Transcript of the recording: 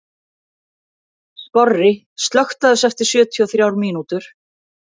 Skorri, slökktu á þessu eftir sjötíu og þrjár mínútur.